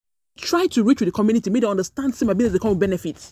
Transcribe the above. try to reach with di community, make dem understand say my biz dey come with benefits.